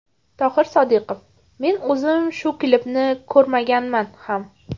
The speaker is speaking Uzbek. Tohir Sodiqov: Men o‘zim shu klipni ko‘rmaganman ham.